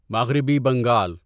مغربی بنگال